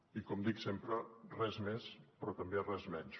i com dic sempre res més però també res menys